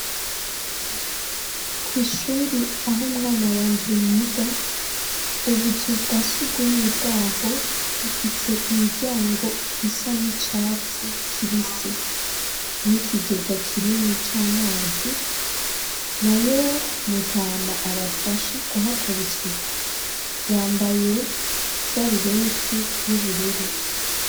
Kw'ishure aho umwana wanje yiga, ubuzu bwa sugumwe bwaho bufise imiryango isa n'icatsi kibisi, n'ikigega kinini c'amazi, nayo mutama abafasha kuhakora isuku yambaye isarubete y'ubururu.